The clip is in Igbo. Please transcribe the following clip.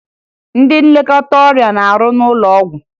Ndị nlekọta ọrịa na-arụ n'ụlọ ọgwụ